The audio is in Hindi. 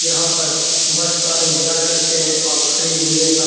यहां पर बस का इंतज़ार करते है और खड़ी मिलने पर --